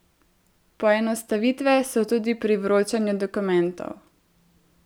Poenostavitve so tudi pri vročanju dokumentov.